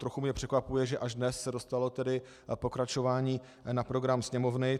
Trochu mě překvapuje, že až dnes se dostalo tedy pokračování na program Sněmovny.